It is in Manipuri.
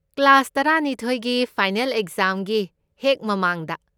ꯀ꯭ꯂꯥꯁ ꯇꯔꯥꯅꯤꯊꯣꯢꯒꯤ ꯐꯥꯏꯅꯦꯜ ꯑꯦꯛꯖꯥꯝꯒꯤ ꯍꯦꯛ ꯃꯃꯥꯡꯗ꯫